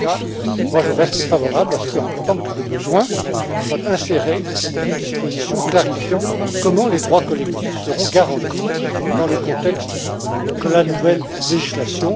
En tout cas, moi, je reste favorable à ce qu'en tant que de besoin, soit insérée une disposition précisant comment les droits collectifs seront garantis dans le contexte de la nouvelle législation.